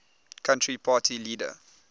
country party leader